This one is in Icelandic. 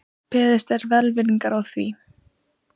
Beðist er velvirðingar á því